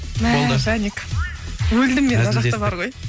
мә жаник өлдім мен мына жақта бар ғой